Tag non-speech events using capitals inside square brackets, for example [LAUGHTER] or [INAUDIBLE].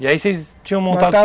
E aí vocês tinham montado [UNINTELLIGIBLE]